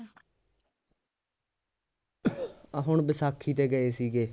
ਆਹ ਹੁਣ ਵੈਸਾਖੀ ਤੇ ਗਏ ਸੀਗੇ